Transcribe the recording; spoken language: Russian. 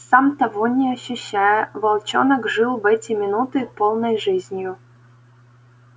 сам того не ощущая волчонок жил в эти минуты полной жизнью